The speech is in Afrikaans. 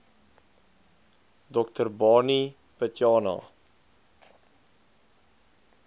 dr barney pityana